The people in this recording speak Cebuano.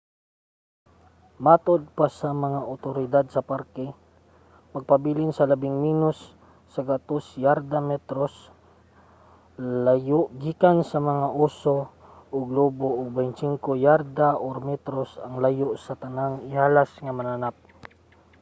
matud pa sa mga otoridad sa parke magpabilin sa labing menos 100 yarda/metros layo gikan sa mga oso ug lobo ug 25 yarda/metros ang layo sa tanang ihalas nga mananap!